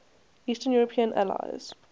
eastern european allies